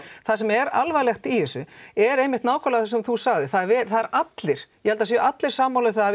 það sem er alvarlegt í þessu er nákvæmlega það sem þú sagðir það eru allir ég held það séu allir sammála um það að